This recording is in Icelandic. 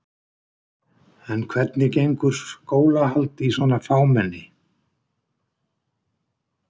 En hvernig gengur skólahald í svona fámenni?